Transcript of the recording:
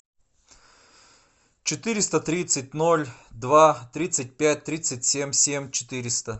четыреста тридцать ноль два тридцать пять тридцать семь семь четыреста